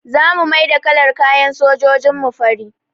Za mu maida kalar kayan sojojin mu fari